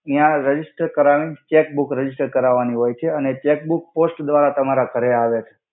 ત્યા રજિસ્ટર કરાવી chequebook register કરાવાની હોય છે અને ચેક્બુક પોસ્ટ દ્વરા તમારા ઘરે આવે છે.